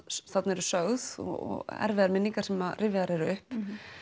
þarna eru sögð og erfiðar minningar sem rifjaðar upp